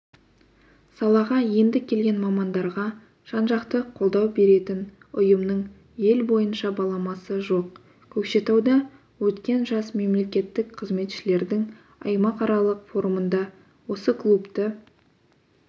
салаға енді келген мамандарға жан-жақты қолдау беретін ұйымның ел бойынша баламасы жоқ көкшетауда өткен жас мемлекеттік қызметшілердің аймақаралық форумында осы клубты